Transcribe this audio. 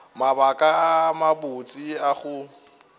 mabaka a mabotse a go